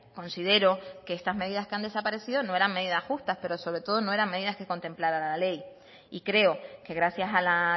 considero que estas medidas que han desaparecido no eran medidas justas pero sobre todo no eran medidas que contemplara la ley y creo que gracias a la